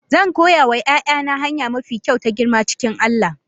Zan koya wa 'ya'yana hanya mafi kyau ta girma cikin Allah.